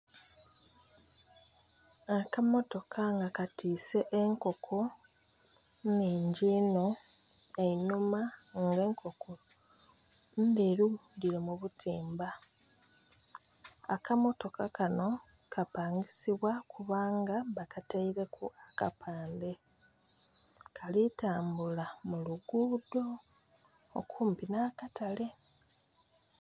Akamotoka nga katise enkoko nhingi inho einhuma nga enkoko ndheru diri mubutimba akamotoka kanho kapangisibwa kubanga bakataireku akapande kali tambula muluguudo okumpi nhakatale